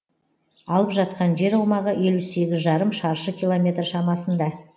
алып жатқан жер аумағы елу сегіз жарым шаршы километр шамасында